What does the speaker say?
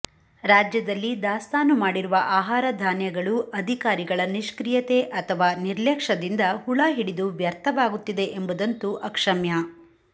ರಾಜ್ಯದಲ್ಲಿ ದಾಸ್ತಾನು ಮಾಡಿರುವ ಆಹಾರ ಧಾನ್ಯಗಳೂ ಅಧಿಕಾರಿಗಳ ನಿಷ್ಕ್ರಿಯತೆ ಅಥವಾ ನಿರ್ಲಕ್ಷ್ಯದಿಂದ ಹುಳ ಹಿಡಿದು ವ್ಯರ್ಥವಾಗುತ್ತಿದೆ ಎಂಬುದಂತೂ ಅಕ್ಷಮ್ಯ